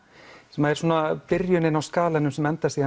sem er byrjunin á skalanum sem endar